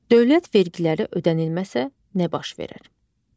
Dövlət vergiləri ödənilməsə nə baş verər?